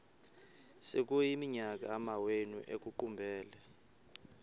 sekuyiminyaka amawenu ekuqumbele